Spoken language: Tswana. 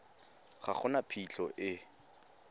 ga go na phitlho e